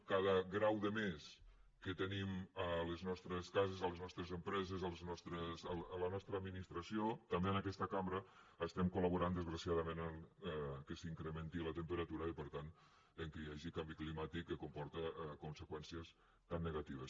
amb cada grau de més que tenim a les nostres cases a les nostres empreses a la nostra administració també en aquesta cambra estem collaborant desgraciadament que s’incrementi la temperatura i per tant que hi hagi canvi climàtic que comporta conseqüències tan negatives